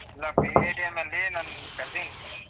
ಇಲ್ಲ BITM ಅಲ್ಲೀ ನನ್ cousin